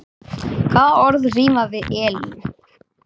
Hvaða orð rímar við Elín?